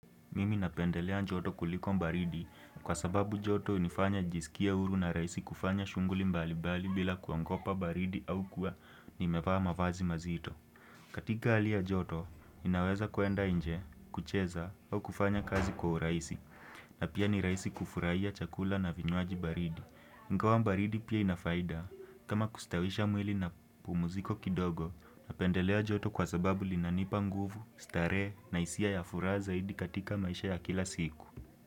Mimi napendelea joto kuliko baridi kwa sababu joto hunifanya nijisikie huru na rahisi kufanya shughuli mbalimbali bila kuogopa baridi au kuwa nimevaa mavazi mazito. Katika hali ya joto ninaweza kwenda nje, kucheza au kufanya kazi kwa urahisi. Na pia ni rahisi kufurahia chakula na vinywaji baridi. Ingawa baridi pia ina faida kama kustawisha mwili na pumziko kidogo napendelea joto kwa sababu linanipa nguvu, starehe na hisia ya furaha zaidi katika maisha ya kila siku.